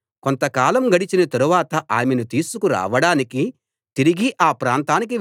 అతడు అక్కడికి వెళ్లి ఆ స్త్రీతో మాట్లాడాడు ఆమె అతనికి నచ్చింది